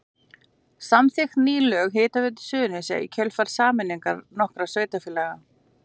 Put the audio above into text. Samþykkt ný lög um Hitaveitu Suðurnesja í kjölfar sameiningar nokkurra sveitarfélaga.